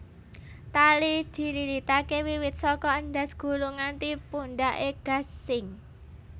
Tali dililitaké wiwit saka endhas gulu nganti pundhaké gasing